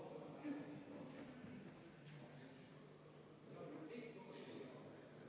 Austatud kolleegid!